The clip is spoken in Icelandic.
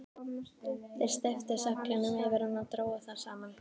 Þeir steyptu seglinu yfir hann og drógu það saman.